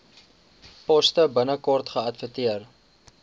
poste binnekort geadverteer